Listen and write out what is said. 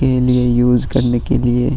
के लिए यूस करने के लिए --